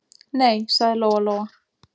Nei, sagði Lóa-Lóa.